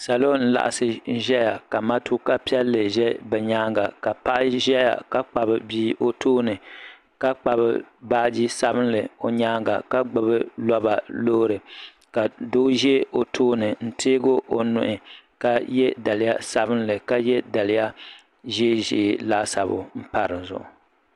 Salo n-laɣisi ʒeya ka matuka piɛlli ʒe bɛ nyaaŋa ka paɣa ʒeya ka kpabi bia o tooni ka kpabi baaji sabinli o nyaaŋa ka gbubi loba loori ka doo ʒe o tooni n-teegi o nuhi ka ye daliya sabinli ka ye daliya ʒeeʒee laasabu m-pa di zuɣu.